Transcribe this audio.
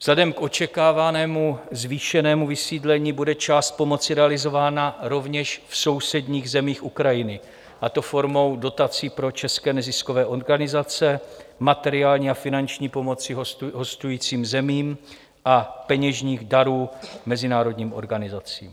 Vzhledem k očekávanému zvýšenému vysídlení bude část pomoci realizována rovněž v sousedních zemích Ukrajiny, a to formou dotací pro české neziskové organizace, materiální a finanční pomoci hostujícím zemím a peněžních darů mezinárodním organizacím.